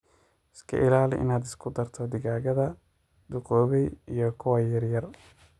Iska ilaali inaad isku darto digaaga duqoobay iyo kuwa yaryar.